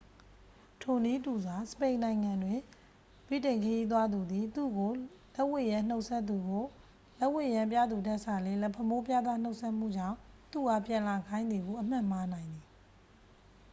ထိုနည်းတူစွာ စပိန်နိုင်ငံတွင် ဗြိတိန်ခရီးသွားသူသည် သူ့ကို လက်ဝှေ့ယမ်းနှုတ်ဆက်မှုကို လက်ဝှေ့ယမ်းပြသူထက်စာလျှင် လက်ဖမိုးပြသ နှုတ်ဆက်မှုကြောင့် သူ့အားပြန်လာခိုင်းသည်ဟု အမှတ်မှားနိုင်သည်။